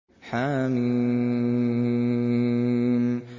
حم